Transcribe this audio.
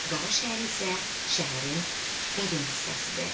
Qara şəhər isə şəhərin qədim hissəsidir.